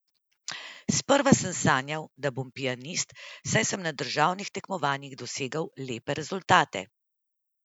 Sprva sem sanjal, da bom pianist, saj sem na državnih tekmovanjih dosegal lepe rezultate.